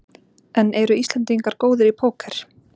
En eru Íslendingar góðir í Póker?